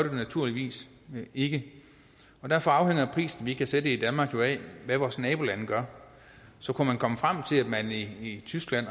naturligvis ikke derfor afhænger prisen vi kan sætte i danmark jo af hvad vores nabolande gør så kunne man komme frem til at man i tyskland